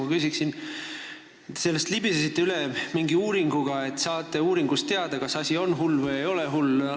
Te libisesite vastusest üle mingi uuringuga, et te saate uuringust teada, kas asi on hull või ei ole hull.